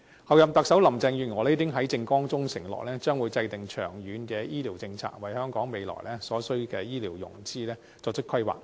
候任特首林鄭月娥已在政綱中承諾，將會制訂長遠醫療政策，為香港未來所需的醫療資源作出規劃。